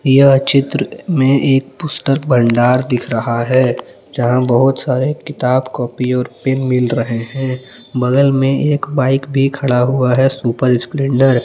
यह चित्र में एक पुस्तक भंडार दिख रहा है यहां बहुत सारे किताब कॉपी और पेन मिल रहे हैं बगल में एक बाइक भी खड़ा हुआ है सुपर स्प्लेंडर।